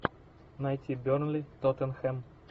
найти бернли тоттенхэм